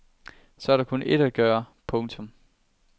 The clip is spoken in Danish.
Så er der kun ét at gøre. punktum